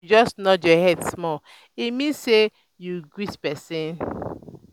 if you just nod your head small e mean sey you greet pesin.